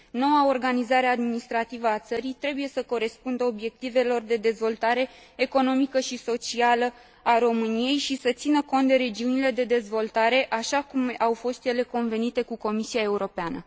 Noua organizare administrativă a țării trebuie să corespundă obiectivelor de dezvoltare economică și socială a României și să țină cont de regiunile de dezvoltare, așa cum au fost ele convenite cu Comisia Europeană.